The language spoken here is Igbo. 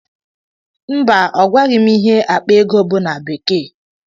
Mba, ọgwaghị m ihe akpa ego bụ na bekee.